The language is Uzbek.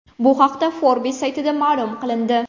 Bu haqda Forbes saytida ma’lum qilindi .